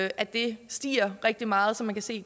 at det stiger rigtig meget så man kan se